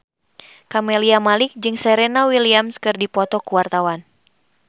Camelia Malik jeung Serena Williams keur dipoto ku wartawan